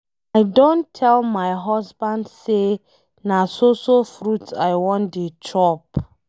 I don tell my husband say na so so fruit I wan dey chop.